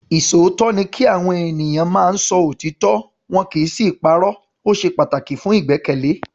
Ìṣòótọ́ ni kí Àwọn ènìyàn máa ń sọ òtítọ́ wọn kì í sì í parọ́. O ṣe pataki fun igbẹkẹle.